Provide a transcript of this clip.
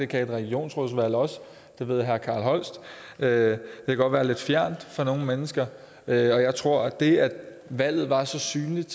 kan regionsrådsvalg også det ved herre carl holst det kan godt være lidt fjernt for nogle mennesker og jeg tror at det at valget var så synligt